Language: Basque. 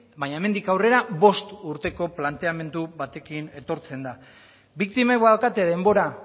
baina hemendik aurrera bost urteko planteamendu batekin etortzen da biktimek badaukate denbora